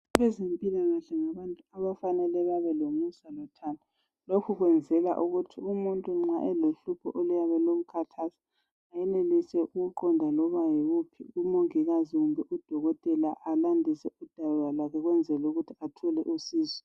Abezempilakahle ngabantu abafanele babelomusa lothando. Lokhu kwenzelwa ukuthi umuntu nxa elohlupho oluyabe lumkhathaza ayenelise ukuqonda loba yiwuphi umongikazi kumbe udokotela alandise udaba kwakhe ukwenzela ukuthi athole usizo.